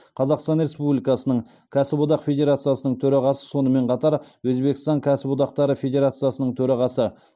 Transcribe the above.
қазақстан республикасының кәсіподақ федерациясының төрағасы сонымен қатар өзбекстан кәсіподақтары федерациясының төрағасы